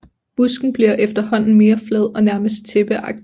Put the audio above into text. Busken bliver efterhånden mere flad og nærmest tæppeagtig